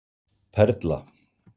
Perla